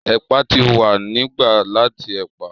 Ẹ̀pà ti wa ni gba lati ẹ̀pà.